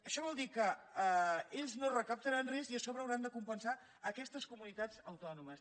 això vol dir que ells no recaptaran res i a sobre hauran de compensar aquestes comunitats autònomes